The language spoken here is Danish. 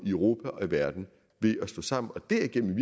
europa og verden ved at stå sammen og derigennem